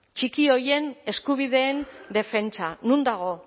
txiki horien eskubideen defentsa non dago